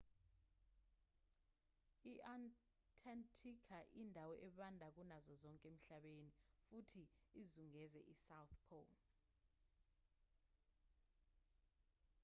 i-antarctica indawo ebanda kunazo zonke emhlabeni futhi izungeze isouth pole